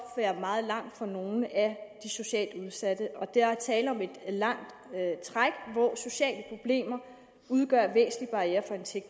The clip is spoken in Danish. være meget lang for nogle af de socialt udsatte og der er tale om et langt træk hvor sociale problemer udgør væsentlige barrierer for